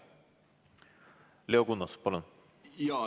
Leo Kunnas, palun!